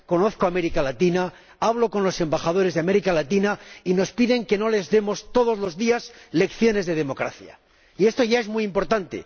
Conozco América Latina, hablo con los embajadores de América Latina y nos piden que no les demos todos los días lecciones de democracia. Y esto ya es muy importante.